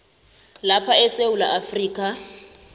lapha esewula afrika